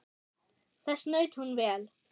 Þess naut hún vel.